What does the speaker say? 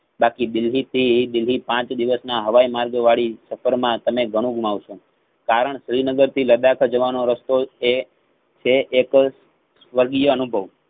બાકી બીજી સી ઈ બીજી પાંચ દિવસ ના હવાયમાર્ગ વળી સફર માં તમે ઘણું ગુમાવ છો. કારણ શ્રીનગર લડાખ જવાનો રસ્તો એ છે એ તો સ્વર્ગીય અનુભવ